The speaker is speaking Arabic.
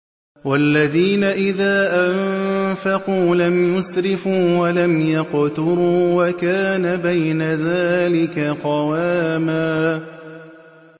وَالَّذِينَ إِذَا أَنفَقُوا لَمْ يُسْرِفُوا وَلَمْ يَقْتُرُوا وَكَانَ بَيْنَ ذَٰلِكَ قَوَامًا